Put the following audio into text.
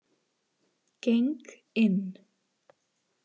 Geng inn.